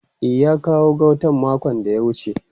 E, ya kawo gautan makon da ya wuce.